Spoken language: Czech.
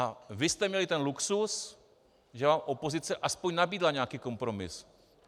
A vy jste měli ten luxus, že vám opozice aspoň nabídla nějaký kompromis.